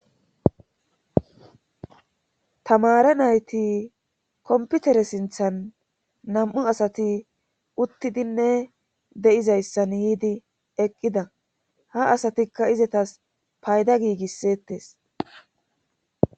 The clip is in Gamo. tamare nayti komputere sinthan nam7u asati uttidinne de7izayssan yiidi eqqida ha asatikka izetas payda giigisseettes